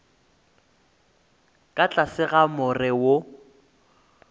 ka tlase ga more wo